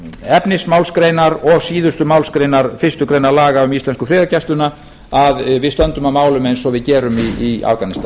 efnismálsgreinar og síðustu málsgreinar fyrstu grein laga um íslensku friðargæsluna að við stöndum að málum eins og við gerum í afganistan